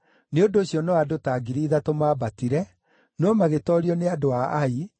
Nĩ ũndũ ũcio no andũ ta 3,000 maambatire, no magĩtoorio nĩ andũ a Ai,